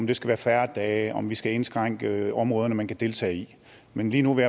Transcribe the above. det skal være færre dage om vi skal indskrænke områderne man kan deltage i men lige nu vil